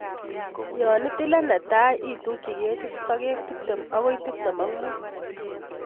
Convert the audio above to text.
Yon itile netai itukyi ketit sokek tiptem agoi tiptem ak mut.